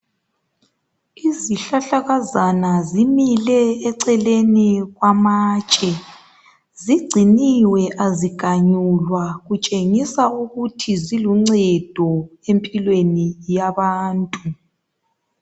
Izihlahlakazana zimile eceleni kwamatshe. Zigciniwe aziganyulwa kutshengisa ukuthi ziluncedo empilweni yabantu.